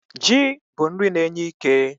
Ji bụ nri na-enye ike.